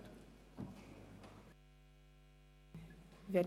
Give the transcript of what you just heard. FiKo-Minderheit / SP-JUSO-PSA [Wüthrich, Huttwil] – Nr. 2)